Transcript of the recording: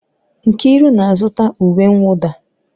Nkiru na-azụta uwe mwụda.